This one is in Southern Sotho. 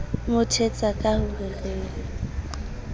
mo thetsa ka ho re